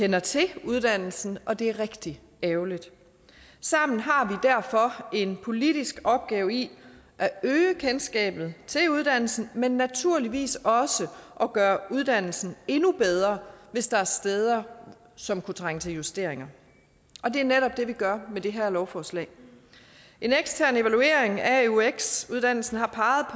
kender til uddannelsen og det er rigtig ærgerligt sammen har vi derfor en politisk opgave i at øge kendskabet til uddannelsen men naturligvis også at gøre uddannelsen endnu bedre hvis der er steder som kunne trænge til justeringer og det er netop det vi gør med det her lovforslag en ekstern evaluering af eux uddannelsen har